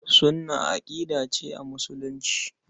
Sunnah aƙida ce a Musulunci.